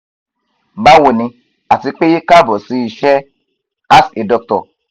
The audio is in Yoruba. bawo ni ati pe kaabo si iṣẹ ask a doctor